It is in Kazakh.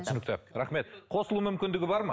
түсінікті рахмет қосылу мүмкіндігі бар ма